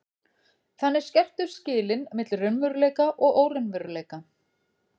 Þannig skerptust skilin milli raunveruleika og óraunveruleika.